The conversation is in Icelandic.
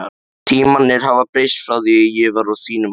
Tímarnir hafa breyst frá því ég var á þínum aldri.